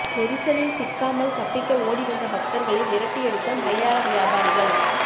நெரிசலில் சிக்காமல் தப்பிக்க ஓடி வந்த பக்தர்களை விரட்டியடித்த மலையாள வியாபாரிகள்